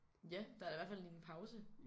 Ja der er i hvert fald lige en pause